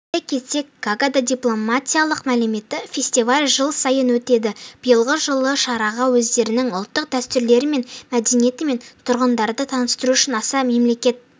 айта кетсек гаагада дипломатиялық мәдениет фестивалі жыл сайын өтеді биылғы жылы шараға өздерінің ұлттық дәстүрлерімен мәдениетімен тұрғындарды таныстыру үшін аса мемлекет